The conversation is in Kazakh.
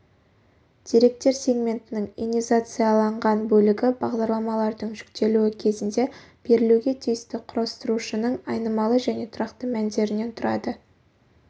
деректер сегментінің инизациацияланған бөлігі бағдарламалардың жүктелуі кезінде берілуге тиісті құрастырушының айнымалы және тұрақты мәндерінен тұрады